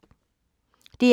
DR2